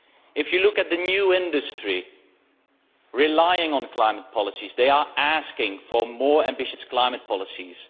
If you look at the new industries relying on climate policies, they are asking for more ambitious climate policies.